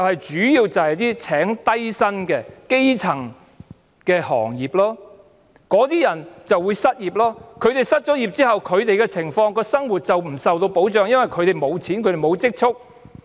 主要是聘請低薪人士的基層行業，那些人會失業，他們失業之後，生活不受保障，因為他們沒有錢、沒有積蓄。